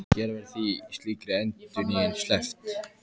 Hér verður því slíkri endurnýjun sleppt.